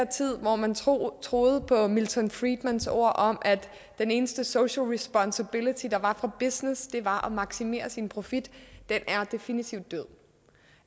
tid hvor man troede troede på milton friedmans ord om at den eneste social responsibility der var for business var at maksimere sin profit definitivt